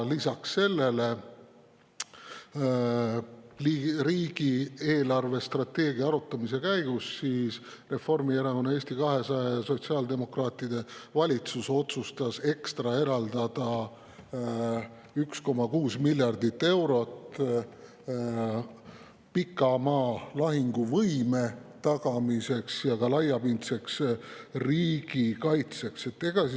Lisaks sellele otsustas riigi eelarvestrateegia arutamise käigus Reformierakonna, Eesti 200 ja sotsiaaldemokraatide valitsus eraldada ekstra 1,6 miljardit eurot pikamaa lahinguvõime ja laiapindse riigikaitse tagamiseks.